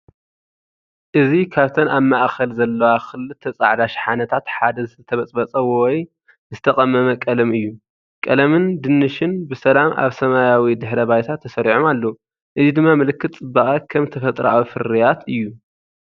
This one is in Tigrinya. እዚ ካብተን ኣብ ማእከል ዘለዋ ክልተ ጻዕዳ ሸሓነታት ሓደ ዝተበፅበፀ ወይ ዝተቀመመ ቀለም እዩ። ቀለምን ድንሽን ብሰላም ኣብ ሰማያዊ ድሕረ ባይታ ተሰሪዖም ኣለዉ፡ እዚ ድማ ምልክት ጽባቐ ከም ተፈጥሮኣዊ ፍርያት እዩ።